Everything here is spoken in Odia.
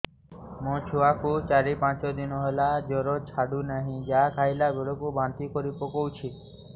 ମୋ ଛୁଆ କୁ ଚାର ପାଞ୍ଚ ଦିନ ହେଲା ଜର ଛାଡୁ ନାହିଁ ଯାହା ଖାଇଲା ବେଳକୁ ବାନ୍ତି କରି ପକଉଛି